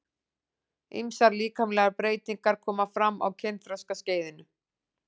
Ýmsar líkamlegar breytingar koma fram á kynþroskaskeiðinu.